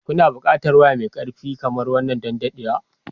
Kuna buƙatar waya mai ƙarfi kamar wannan don dadewa.